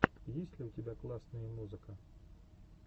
есть ли у тебя классные музыка